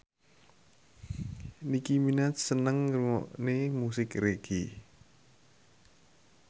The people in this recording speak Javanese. Nicky Minaj seneng ngrungokne musik reggae